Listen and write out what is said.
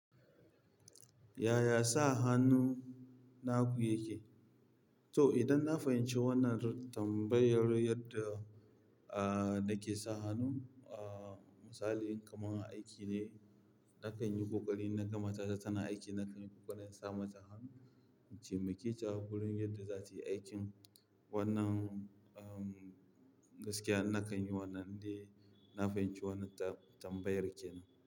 Yaya sa hannu naku yake? To idan na fahimci wannan tambayar yadda, ah, nake sa hannu, ah, misali kamar aiki ne, na kan yi ƙoƙari na ga matata tana aiki, na kan yi ƙoƙarin sa mata hannu, in temakaita a wurin yadda za ta yi aikin wannan, um, gaskiya na san yi wannan ne, na fahimci wannan ta tambayar kenan.